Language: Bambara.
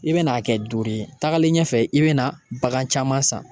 I bɛ n'a kɛ duuru ye tagalen ɲɛfɛ i bɛna bagan caman san.